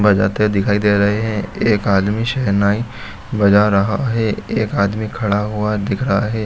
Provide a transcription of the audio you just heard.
बजाते दिखायी दे रहे है एक आदमी सहनाई बजा रहा है एक आदमी खड़ा हुआ दिख रहा है।